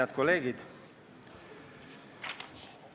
Head kolleegid!